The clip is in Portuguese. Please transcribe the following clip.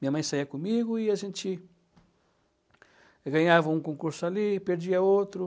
Minha mãe saía comigo e a gente ganhava um concurso ali, perdia outro.